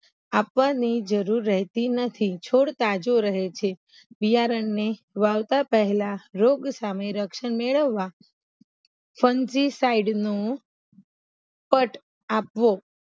આપવાની જરૂર રેહતી નથી છોડ તાજો રહે છે બિયારણને વાવતા પેહલા રોગ સામે રક્ષણ મેળવવા ફનથી સાઈડનું કટ આપવો